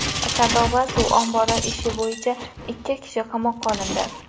Sardoba suv ombori ishi bo‘yicha ikki kishi qamoqqa olindi.